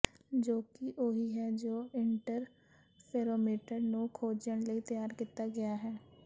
ਜੋ ਕਿ ਉਹੀ ਹੈ ਜੋ ਇੰਟਰਫੇਰੋਮੀਟਰ ਨੂੰ ਖੋਜਣ ਲਈ ਤਿਆਰ ਕੀਤਾ ਗਿਆ ਹੈ